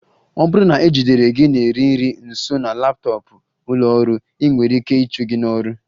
Ọ bụrụ na e jidere gị na-eri nri nso na laptọọpụ ụlọ ọrụ, ị nwere ike ịchụ gị n'ọrụ